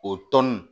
O tɔn nin